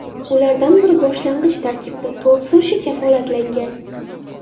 Ulardan biri boshlang‘ich tarkibda to‘p surishi kafolatlangan.